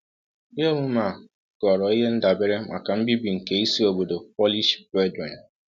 Ihe omume a ghọrọ ihe ndabere maka mbibi nke isi obodo Polish Brethren.